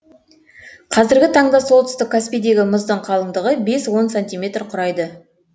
қазіргі таңда солтүстік каспийдегі мұздың қалыңдығы бес он сантиметр құрайды